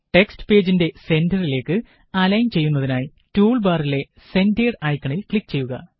text പേജിന്റെ സെന്റ്ററിലേക്ക് align ചെയ്യുന്നതിനായി ടൂള് ബാറിലെ സെന്റേര്ഡ് ഐക്കണില് ക്ലിക് ചെയ്യുക